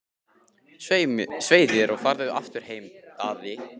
Svei þér og farðu aftur heim, Daði!